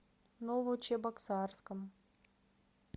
новочебоксарском